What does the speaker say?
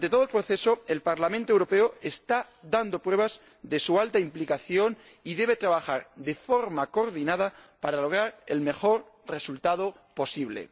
Durante todo el proceso, el Parlamento Europeo está dando pruebas de su alta implicación y debe trabajar de forma coordinada para lograr el mejor resultado posible.